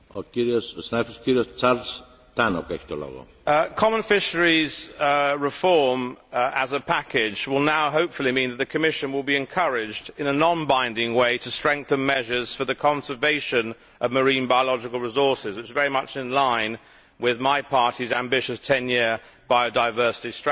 Mr President, common fisheries policy reform, as a package, will now hopefully mean the Commission will be encouraged, in a non binding way, to strengthen measures for the conservation of marine biological resources. This is very much in line with my party's ambitious 10 year biodiversity strategy.